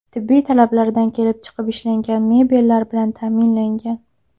Tibbiy talablardan kelib chiqib ishlangan mebellar bilan ta’minlangan.